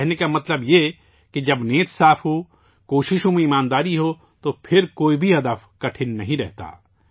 کہنے کا مطلب یہ ہے کہ جب نیت صاف ہو، کوششوں میں دیانت داری ہو تو پھرکوئی بھی ہدف مشکل نہیں رہتا